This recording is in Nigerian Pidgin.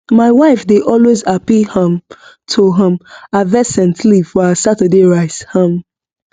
my wife dey always happy um to um harvest scent leaf for her saturday rice um